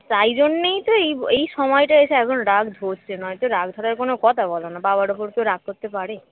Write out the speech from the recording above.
তাই জন্যেই তো এই ব এই সময়টায় এসে এখন রাগ ধরছে নয়তো রাগ ধরার কোন কথা বলোনা বাবার উপর কেউ রাগ করতে পারে